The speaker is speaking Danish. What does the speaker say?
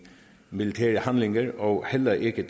militære handlinger og heller ikke